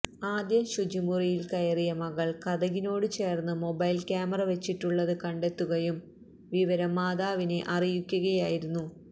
ആദ്യം ശുചിമുറിയില് കയറിയ മകള് കതകിനോടു ചേര്ന്ന് മൊബൈല് ക്യാമറ വച്ചിട്ടുള്ളത് കണ്ടെത്തുകയും വിവരം മാതാവിനെ അറിയിക്കുകയായിരുന്നു